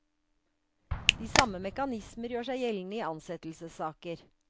De samme mekanismer gjør seg gjeldende i ansettelsessaker.